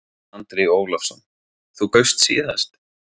Andri Ólafsson: Þú kaust síðast?